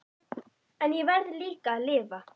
En ég verð líka að lifa.